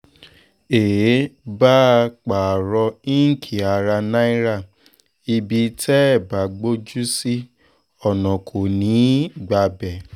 èé báa parọ́ ìnkí ará náírà ibi tẹ́ ẹ bá gbójú sí ọ̀nà kò ní í gbabẹ̀